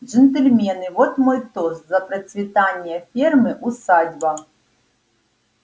джентльмены вот мой тост за процветание фермы усадьба